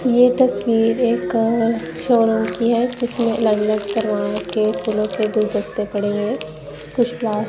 यह तस्वीर एक शोरूम की है जिसमें अलग अलग फूलों से गुलदस्ते पड़े हुए है कुछ फ्लो--